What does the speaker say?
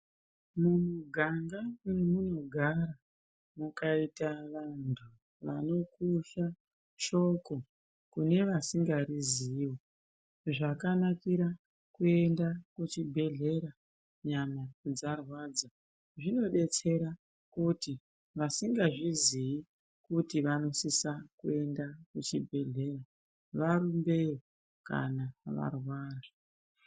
Mumiganga mwemunogara, mukaita vanhu vanokusha shoko kune vasingariziye, zvakanakire kuenda kuchibhehlera nyama dzarwadza zvinodetsera kuti vasingazviziyi kuti vanosise kuende kuchibhehlera varumbeyo kana varwara.